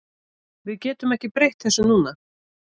Við getum ekki breytt þessu núna.